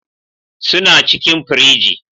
Suna cikin firiji.